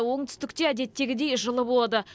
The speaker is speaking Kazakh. оңтүстікте әдеттегідей жылы болады